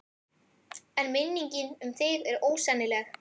En minningin um þig er ósennileg.